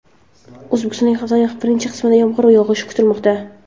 O‘zbekistonda haftaning birinchi qismida yomg‘ir yog‘ishi kutilmoqda.